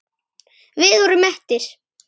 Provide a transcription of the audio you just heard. Við vorum mettir.